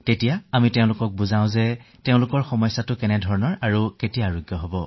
আমি তেওঁলোকক বুজাও যে আপোনাৰ কোনটো সমস্যা কেতিয়া ঠিক হব